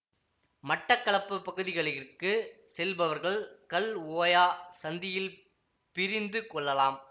மட்டக்களப்பு பகுதிகளிற்குச் செல்பவர்கள் கல் ஓயா சந்தியில் பிரிந்து கொள்ளலாம்